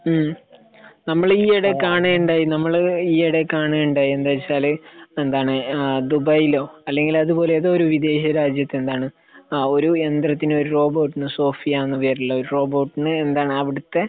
ഹ്മ്. നമ്മള് ഈ ഇടേയ് കാണേണ്ട നമ്മള് ഈ ഇടെയ് കാണേണ്ട എന്താന്ന് വെച്ചാൽ എന്താണ് ഏഹ് ദുബായ്ലോ അല്ലെങ്കിൽ അത് പോലെ ഏതോ ഒരു വിദേശ രാജ്യത്ത് എന്താണ്? ആഹ് ഒരു യന്ത്രത്തിനോ ഒരു റോബോർട്ടിനോ സോഫിയ എന്ന പേരുള്ള ഒരു റോബോർട്ടിനെ എന്താണ്? അവിടുത്തെ